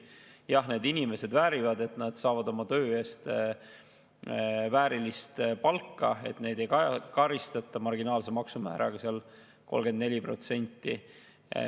Jah, need inimesed väärivad, et nad saavad oma töö eest väärilist palka, et neid ei karistata marginaalse maksumääraga, 34%.